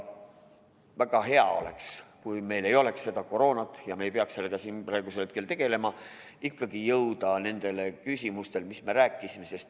Väga hea oleks, kui meil ei oleks seda koroonat ja me ei peaks sellega siin praegusel hetkel tegelema, ning me ikkagi ikkagi jõuaksime nende küsimusteni, millest me rääkisime.